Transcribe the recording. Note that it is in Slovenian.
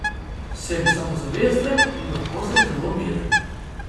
Sem samozavesten in lahko sem zelo miren.